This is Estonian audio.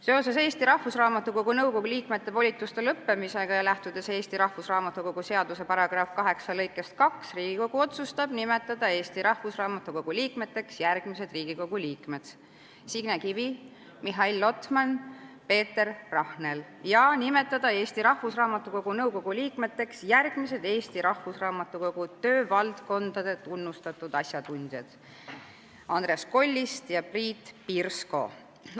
Seoses Eesti Rahvusraamatukogu nõukogu liikmete volituste lõppemisega ja lähtudes Eesti Rahvusraamatukogu seaduse § 8 lõikest 2, otsustab Riigikogu Eesti Rahvusraamatukogu nõukogu liikmeteks nimetada Riigikogu liikmed Signe Kivi, Mihhail Lotmani ja Peeter Rahneli ning järgmised Eesti Rahvusraamatukogu töövaldkondade tunnustatud asjatundjad: Andres Kollist ja Priit Pirsko.